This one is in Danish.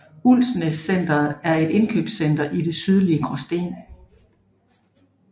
Ulsnæs Centret er et indkøbscenter i det sydlige Gråsten